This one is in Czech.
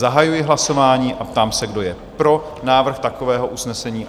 Zahajuji hlasování a ptám se, kdo je pro návrh takového usnesení?